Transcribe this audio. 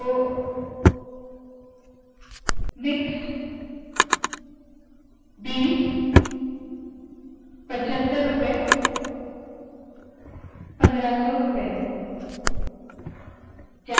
तो मिक्स्ड बीस पचहत्तर रूपए पंद्रह सौ रूपए